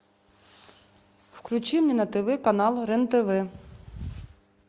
включи мне на тв канал рен тв